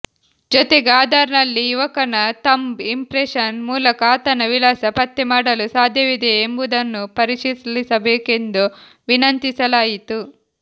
ಜೊತೆಗೆ ಆಧಾರ್ ನಲ್ಲಿ ಯುವಕನ ಥಂಬ್ ಇಂಪ್ರೆಷನ್ ಮೂಲಕ ಆತನ ವಿಳಾಸ ಪತ್ತೆ ಮಾಡಲು ಸಾಧ್ಯವಿದೆಯೇ ಎಂಬುದನ್ನು ಪರಿಶೀಲಿಸಬೇಕೆಂದು ವಿನಂತಿಸಲಾಯಿತು